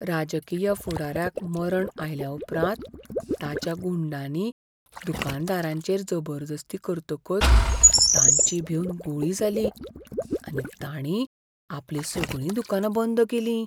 राजकीय फुडाऱ्याक मरण आयल्याउपरांत ताच्या गुंडांनी दुकानदारांचेर जबरदस्ती करतकच तांची भिवन गुळी जाली आनी ताणीं आपलीं सगळीं दुकानां बंद केलीं.